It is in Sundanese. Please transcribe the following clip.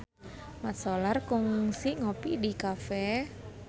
Mat Solar kungsi ngopi di cafe